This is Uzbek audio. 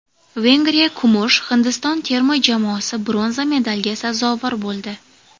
Vengriya kumush, Hindiston terma jamoasi bronza medalga sazovor bo‘ldi.